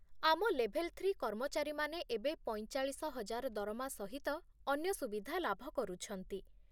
ଆମ level three କର୍ମଚାରୀମାନେ ଏବେ ପଇଁଚାଳିଶ ହଜାର ଦରମା ସହିତ ଅନ୍ୟ ସୁବିଧା ଲାଭ କରୁଛନ୍ତି ।